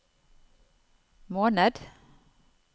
måned